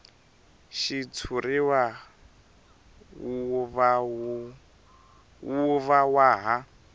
xitshuriwa wu va wa ha